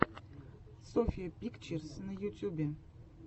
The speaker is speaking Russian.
софья пикчерс на ютьюбе